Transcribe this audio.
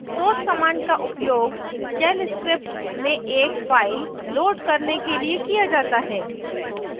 source command का उपयोग shell script में एक फ़ाइल load करने के लिए किया जाता है